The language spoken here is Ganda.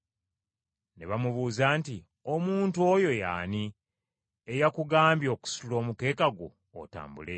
Ne bamubuuza nti, “Omuntu oyo ye ani eyakugambye okusitula omukeeka gwo otambule?”